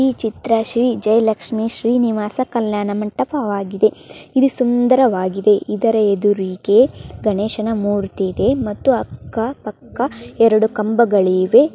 ಈ ಚಿತ್ರ ಶ್ರೀ ಜಯಲಕ್ಷ್ಮಿ ಶ್ರೀನಿವಾಸ ಕಲ್ಯಾಣ ಮಂಟಪವಾಗಿದೆ ಇದು ಸುಂದರವಾಗಿದೆ ಇದರ ಎದುರಿಗೆ ಗಣೇಶನ ಮೂರ್ತಿ ಇದೆ ಮತ್ತೆ ಅಕ್ಕ ಪಕ್ಕ ಎರಡು ಕಂಬಗಳಿವೆ.